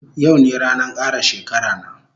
Yau ne ranan kara shekara na